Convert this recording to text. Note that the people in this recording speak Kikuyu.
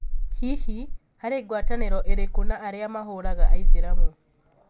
hihi, harĩ ngwatanĩro ĩrĩkũ na arĩa mahũraga aitheramu?